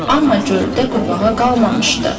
Amma göldə qurbağa qalmamışdı.